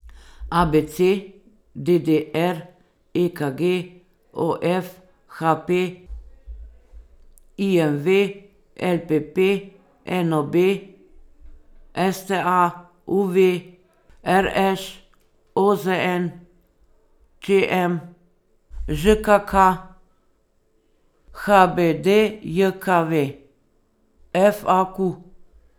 A B C; D D R; E K G; O F; H P; I M V; L P P; N O B; S T A; U V; R Š; O Z N; Č M; Ž K K; H B D J K V; F A Q.